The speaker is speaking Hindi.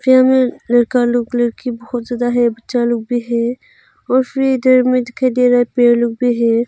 यहां में लड़का लोग लड़की बहुत ज्यादा है बच्चा लोग भी हैं और फिर इधर में दिखाई दे रहा है पेड़ लोग भी है।